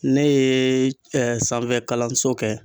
Ne yee sanfɛkalanso kɛ